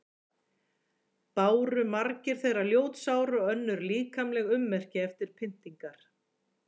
Báru margir þeirra ljót sár og önnur líkamleg ummerki eftir pyndingar.